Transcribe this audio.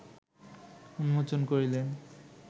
উন্মোচন করিলেন